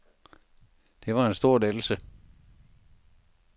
Det var en stor lettelse.